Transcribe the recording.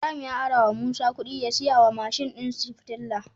Ibahim ya arawa musa kudi ya siya wa mashin din shi fetir